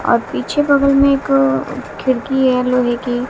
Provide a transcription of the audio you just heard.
और पीछे बगल में एक अ खिड़की है लोहे की।